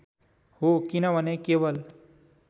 हो किनभने केवल